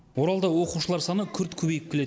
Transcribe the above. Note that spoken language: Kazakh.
оралда оқушылар саны күрт көбейіп келеді